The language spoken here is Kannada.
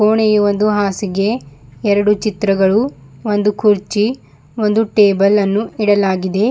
ಕೋಣೆಯು ಒಂದು ಹಾಸಿಗೆ ಎರಡು ಚಿತ್ರಗಳು ಒಂದು ಕುರ್ಚಿ ಒಂದು ಟೇಬಲ್ ಅನ್ನು ಇಡಲಾಗಿದೆ.